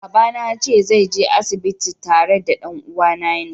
Baba na yace zai je asibiti tare da dan'uwane na.